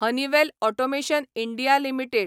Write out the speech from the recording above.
Honeywell automation India limited